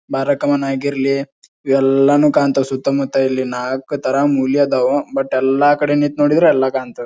ಬರಕವನ್ನಾಗಿರ್ಲಿ ಇವೆಲ್ಲಾನು ಕಾಂತವು ಸುತ್ತ ಮುತ್ತ ಇಲ್ಲಿ ನಾಲಕ್ಕು ತರ ಮ್ಯೂಲ್ ಆದವು ಬಟ್ ಯಲ್ಲಾ ಕಡೆ ನಿತ್ ನೋಡಿದ್ರ ಯಲ್ಲಾ ಕಾಂತದ್.